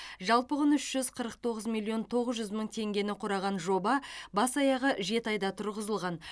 жалпы құны үш жүз қырық тоғыз миллион тоғыз жүз мың теңгені құраған жоба бас аяғы жеті айда тұрғызылған